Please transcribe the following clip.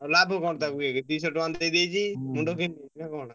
ଆଉ ଲାଭ କଣ ଦୁଇଶହ ଟଙ୍କା ଦେଇଦେଇଛି ।